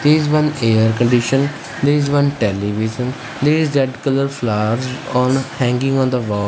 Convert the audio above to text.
there is one air condition there is one television there is red colour flower on hanging on the wall.